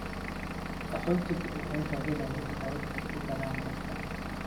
Qaxootigu waxay raadinayaan habab ay ku galaan dalka.